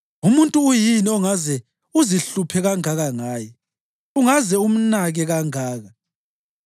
Umuntu uyini ongaze uzihluphe kangaka ngaye, ungaze umnake kangaka,